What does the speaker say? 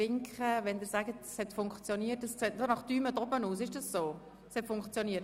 Können Sie mir signalisieren, ob die Übertragung wieder funktioniert?